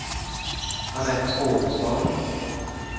Annette Pålsson